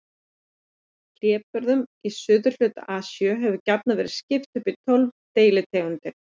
Hlébörðum í suðurhluta Asíu hefur gjarnan verið skipt upp í tólf deilitegundir.